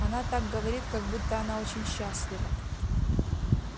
она так говорит как будто она очень счастлива